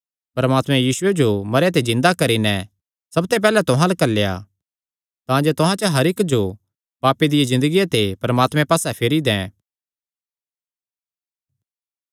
परमात्मैं यीशुये जो मरेयां ते जिन्दा करी नैं सबते पैहल्लैं तुहां अल्ल घल्लेया तांजे तुहां च हर इक्क जो पापे दिया ज़िन्दगिया ते परमात्मे पास्से फेरी दैं